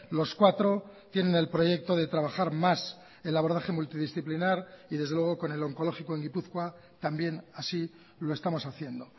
los cuatro tienen el proyecto de trabajar más el abordaje multidisciplinar y desde luego con el oncológico en gipuzkoa también así lo estamos haciendo